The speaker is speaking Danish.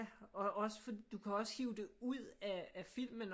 Og også du kan også hive det ud af filmen